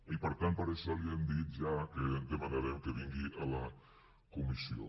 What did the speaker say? i per tant per això li hem dit ja que demanarem que vingui a la comissió